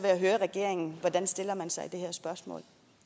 jeg høre regeringen hvordan man stiller sig i det her spørgsmål